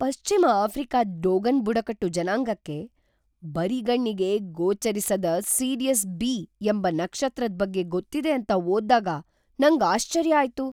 ಪಶ್ಚಿಮ ಆಫ್ರಿಕಾದ್ ಡೋಗನ್ ಬುಡಕಟ್ಟು ಜನಾಂಗಕ್ಕೆ ಬರಿಗಣ್ಣಿಗೆ ಗೋಚರಿಸದ್ ಸಿರಿಯಸ್ ಬಿ ಎಂಬ ನಕ್ಷತ್ರದ್ ಬಗ್ಗೆ ಗೊತ್ತಿದೆ ಅಂತ ಓದ್ ದಾಗ ನಂಗ್ ಆಶ್ಚರ್ಯ ಆಯ್ತು.